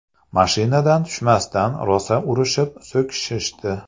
Mashinadan tushmasdan, rosa urishib, so‘kishishdi.